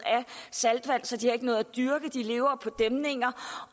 saltvand så de ikke har noget at dyrke de lever på dæmninger